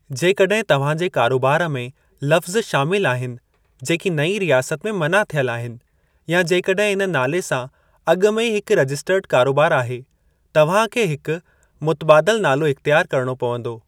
जेकॾहिं तव्हां जे कारोबार में लफ़्ज़ु शामिलु आहिनि जेकी नईं रियासत में मना थियल आहिनि, या जेकॾहिं इन नाले सां अॻु में ई हिक रजिस्टर्ड कारोबार आहे, तव्हां खे हिक मुतबादिल नालो इख़्तियार करणो पंवदो।